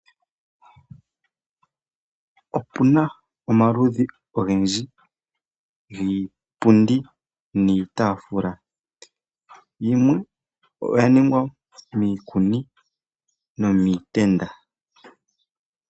Opuna omaludhi ogendji giipundi niitaafula, yimwe oya ningwa miikuni nomiitenda.